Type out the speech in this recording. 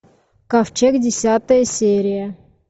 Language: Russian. ковчег десятая серия